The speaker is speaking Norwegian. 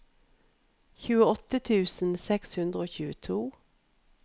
tjueåtte tusen seks hundre og tjueto